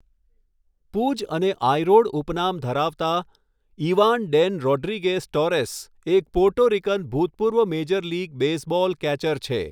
Pudge' અને 'I rod' ઉપનામ ધરાવતા ઈવાન ડેન રોડ્રિગેઝ ટોરેસ, એક પોર્ટો રિકન ભૂતપૂર્વ મેજર લીગ બેઝબોલ કેચર છે.